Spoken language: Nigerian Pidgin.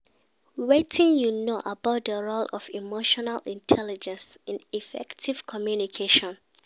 Wetin you know about di role of emotional intelligence in effective communication?